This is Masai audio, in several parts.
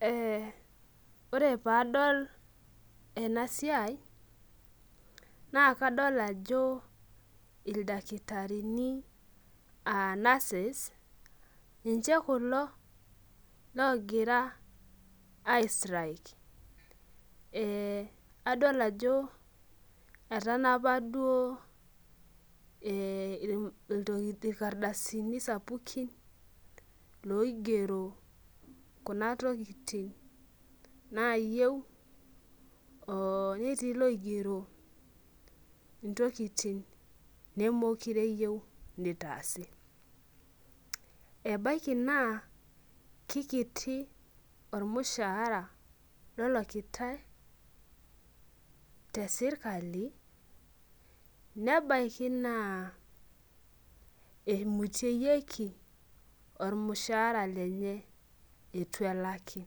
Eh ore padol enasiai, na kadol ajo ildakitarini ah nurses ninche kulo logira ai strike. Adol ajo etanapa duo irkadasini sapukin, loigero kuna tokiting nayieu, netii loigero intokiting nemekure eyieu nitaasi. Ebaiki naa kikiti ormushaara lolakitai tesirkali, nebaiki naa eimuteyieki ormushaara lenye eitu elaki.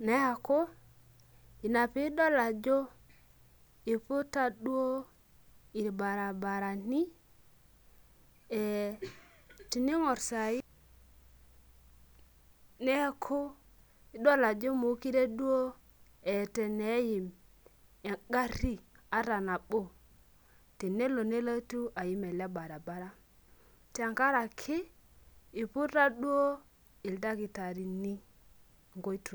Neeku, ina pidol ajo iputa duo irbarabarani, tining'or sai neeku idol ajo mokure duo eeta eneim egarri ata nabo, tenelo nelotu aim ele barabara. Tenkaraki, iputa duo ildakitarini inkoitoii.